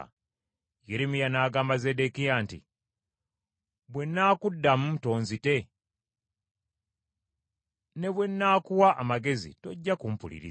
Yeremiya n’agamba Zeddekiya nti, “Bwe nnaakuddamu tonzite? Ne bwe nnaakuwa amagezi tojja kumpuliriza.”